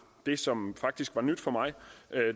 det som faktisk var nyt for mig